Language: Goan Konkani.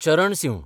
चरण सिंह